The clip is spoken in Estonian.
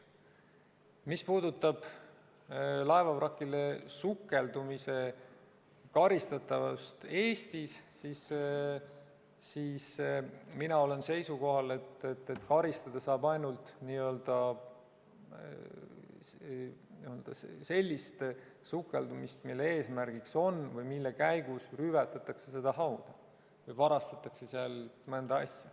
Mis puudutab laevavrakile sukeldumise karistatavust Eestis, siis mina olen seisukohal, et karistada saab ainult sellise sukeldumise eest, mille käigus rüvetatakse seda hauda, näiteks varastatakse sealt mõni asi.